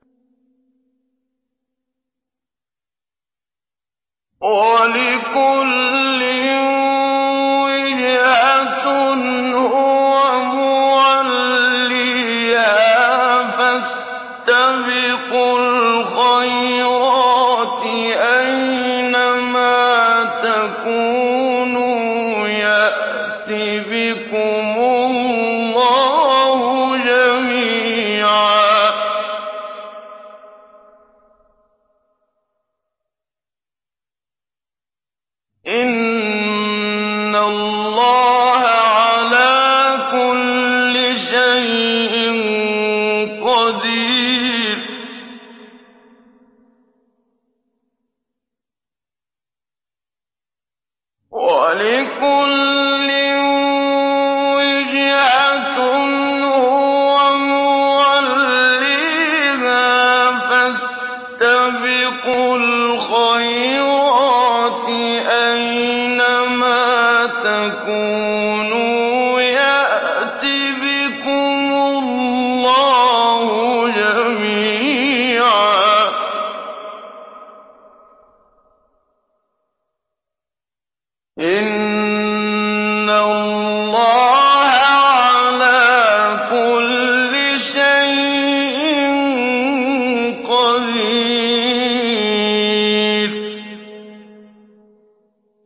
وَلِكُلٍّ وِجْهَةٌ هُوَ مُوَلِّيهَا ۖ فَاسْتَبِقُوا الْخَيْرَاتِ ۚ أَيْنَ مَا تَكُونُوا يَأْتِ بِكُمُ اللَّهُ جَمِيعًا ۚ إِنَّ اللَّهَ عَلَىٰ كُلِّ شَيْءٍ قَدِيرٌ